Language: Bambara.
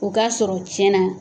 O k'a sɔrɔ tiɲɛna